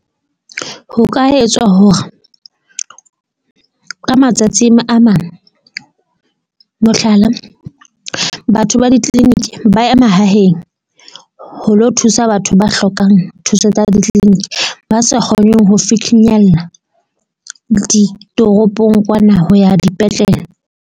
Ho ka etswa hore ka matsatsi a mang, mohlala, batho ba di-clinic ba ya mahaheng ho lo thusa batho ba hlokang thuso tsa ditleliniki. Ba sa kgoneng ho ditoropong kwana ho ya dipetlele.